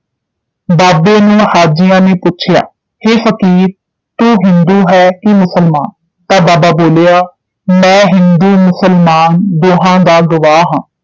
ਬਾਬੇ ਨੂੰ ਹਾਜੀਆਂ ਨੇ ਪੁੱਛਿਆ ਹੈ ਫਕੀਰ ਤੂੰ ਹਿੰਦੂ ਹੈ ਕਿ ਮੁਸਲਮਾਨ ਤਾਂ ਬਾਬਾ ਬੋਲਿਆ ਮੈਂ ਹਿੰਦੂ ਮੁਸਲਮਾਨ ਦੋਹਾਂ ਦਾ ਗਵਾਹ ਹਾਂ